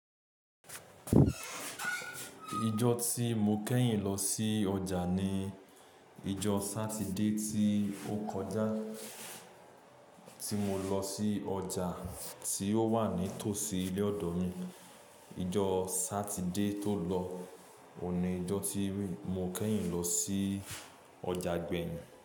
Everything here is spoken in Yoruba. Ijọ́ tí mo kẹ́yìn lọ sí ọjà ni ijọ́ Sátidé tí ó kọjá tí mo lọ sí ọjà tí ó wà ní tòsí ilé ọ̀dọ̀ mi. Ijọ Sátidé tó lọ òun ni ijọ́ tí mo kẹ́yìn lọ sí ọjà gbẹ̀yin.